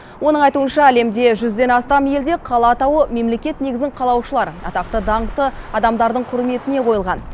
оның айтуынша әлемде жүзден астам елде қала атауы мемлекет негізін қалаушылар атақты даңқты адамдардың құрметіне қойылған